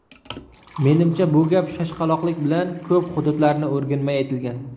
Menimcha, bu gap shoshqaloqlik bilan, ko‘p hududlarni o‘rganmay aytilgan.